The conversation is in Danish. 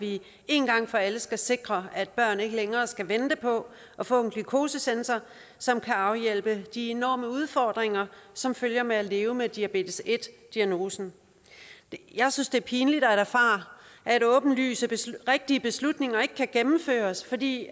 vi én gang for alle skal sikre at børn ikke længere skal vente på at få en glukosesensor som kan afhjælpe de enorme udfordringer som følger med at leve med diabetes en diagnosen jeg synes det er pinligt at erfare at åbenlyst rigtige beslutninger ikke kan gennemføres fordi